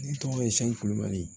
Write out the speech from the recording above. Ne tɔgɔ ye shu kulubali